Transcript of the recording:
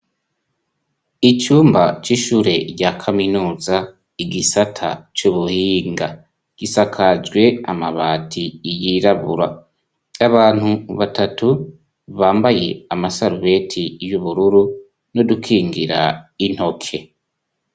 Icumba c'ishure rya kaminuza ,igisata c'ubuhinga gisakajwe amabati iyirabura, abantu batatu bambaye amasarubeti y'ubururu n'udukingira intoke.